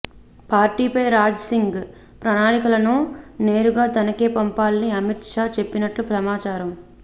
పార్టీపై రాజాసింగ్ ప్రణాళికలను నేరుగ తనకే పంపాలని అమిత్ షా చెప్పినట్లు సమాచారం